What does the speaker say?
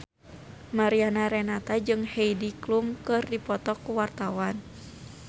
Mariana Renata jeung Heidi Klum keur dipoto ku wartawan